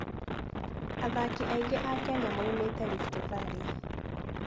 Athaki aingĩ a Kenya moimĩte Rift Valley.